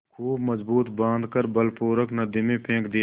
खूब मजबूत बॉँध कर बलपूर्वक नदी में फेंक दिया